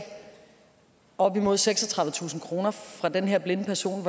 op imod seksogtredivetusind kroner fra den her blinde person